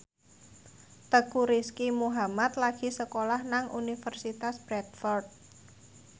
Teuku Rizky Muhammad lagi sekolah nang Universitas Bradford